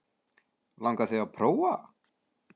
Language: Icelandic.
Langar þig til að prófa?